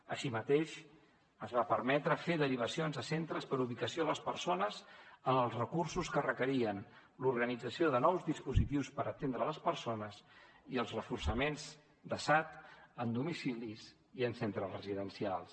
així mateix es va permetre fer derivacions a centres per ubicació a les persones amb els recursos que requerien l’organització de nous dispositius per atendre les persones i els reforçaments de sad en domicilis i en centres residencials